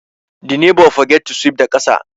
The neighbour forget to sweep the kasa